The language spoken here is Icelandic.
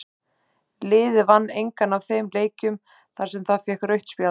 Liðið vann engan af þeim leikjum þar sem það fékk rautt spjald.